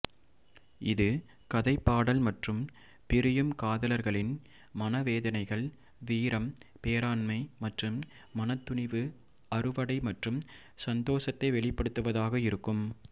இது கதைப்பாடல் மற்றும் பிரியும் காதலர்களின் மனவேதனைகள் வீரம் பேராண்மை மற்றும் மனத்துணிவு அறுவடை மற்றும் சந்தோசத்தை வெளிப்படுத்துவதாக இருக்கும்